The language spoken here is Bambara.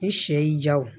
I sɛ y'i ja wo